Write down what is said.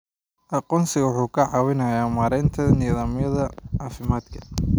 Aqoonsigu wuxuu ka caawiyaa maaraynta nidaamyada caafimaadka.